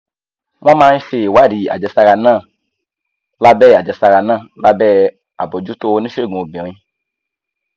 wọ́n máa ń ṣe ìwádìí àjẹsára náà lábẹ́ àjẹsára náà lábẹ́ àbójútó oníṣègùn obìnrin